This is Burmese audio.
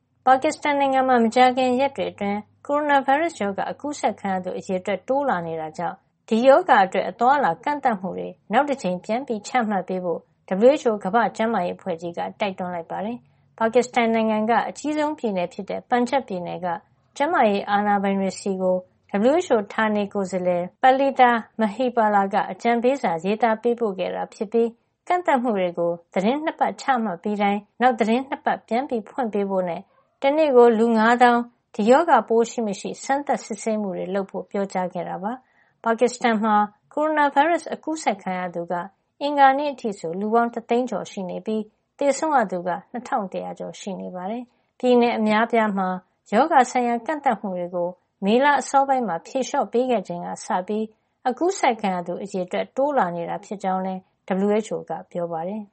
ပါကစ္စတန်နိုင်ငံမှာ မကြာခင်ရက်တွေ အတွင်း ကိုရိုနာဗိုင်းရပ်စ်ရောဂါ အကူးစက်ခံရသူ အရေအတွက် တိုးလာနေတာကြောင့် ဒီရောဂါအတွက် အသွားအလာကန့်သတ်မှုတွေ နောက်တကြိမ် ပြန်ချမှတ်ပေးဖို့ WHO ကမ္ဘာ့ကျန်းမာရေး အဖွဲ့ကြီးက တိုက်တွန်းလိုက်ပါတယ်။ ပါကစ္စတန်နိုင်ငံက အကြီးဆုံးပြည်နယ်ဖြစ်တဲ့ ပန်ဂျပ်ပြည်နယ်က ကျန်းမာရေးအာဏာပိုင်တွေဆီကို WHO ဌာနေကိုယ်စားလှယ် Palitha Mahipala က အကြံပေးစာ ရေးသားပေးပို့ခဲ့တာ ဖြစ်ပြီး ကန့်သတ်မှုတွေကို သီတင်း ၂ ပတ် ချမှတ်ပြီးတိုင်း နောက် သီတင်း ၂ ပတ် ပြန်ဖွင့်ပေးဖို့ နဲ့ တနေ့ကို လူူ ၅ သောင်း ဒီရောဂါပိုးရှိမရှိ စမ်းသပ်စစ်ဆေးမှု လုပ်ဖို့ပြောကြားခဲ့တာပါ။ ပါကစ္စတန်နိုင်ငံမှာ ကိုရိုနာဗိုင်းရပ်စ် အကူးစက်ခံသူက အင်္ဂါနေ့ အထိဆို လူပေါင်း တသိန်းကျော် (၁၁၃ ၇၀၂) ရှိနေပြီး သေဆုံးရသူပေါင်းက ၂၁၀၀ ကျော်ရှိနေပါတယ်။ ပြည်နယ်အများအပြားအတွက် ရောဂါဆိုင်ရာ ကန့်သတ်မှုတွေကို မေလအစောပိုင်းမှာ ဖြေလေ ျှာ့ ပေးခဲ့ချိန်ကစပြီး အကူးစက်ခံရသူ အရေအတွက် တိုးလာနေတာဖြစ်ကြောင်းလည်း WHO ကပြောပါတယ်